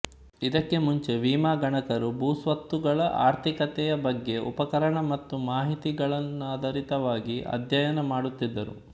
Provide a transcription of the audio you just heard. ಇದಕ್ಕೆ ಮುಂಚೆ ವಿಮಾಗಣಕರು ಭೂಸ್ವತ್ತುಗಳ ಆರ್ಥಿಕತೆಯ ಬಗ್ಗೆ ಉಪಕರಣ ಮತ್ತು ಮಾಹಿತಿಗಳನ್ನಾದಾರಿತವಾಗಿ ಅಧ್ಹ್ಯಯನ ಮಾಡುತ್ತಿದ್ದರು